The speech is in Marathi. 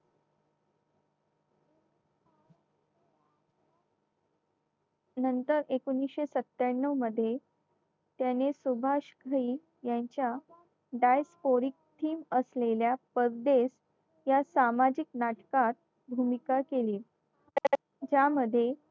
नंतर एकोणीशे सत्त्याण्णव मध्ये त्याने सुभाष घई यांच्या discoric theme असलेल्या परदेस या सामाजिक नाटकात भूमिका केली ज्यामध्ये